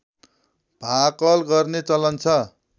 भाकल गर्ने चलन छ